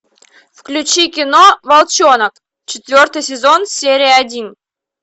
включи кино волчонок четвертый сезон серия один